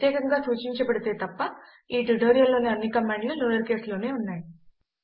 ప్రత్యేకంగా సూచించబడితే తప్ప ఈ ట్యుటోరియల్లోని అన్ని కమాండ్లు లోయర్ కేసులోనే ఉన్నాయి